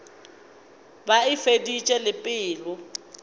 be a feditše le pelo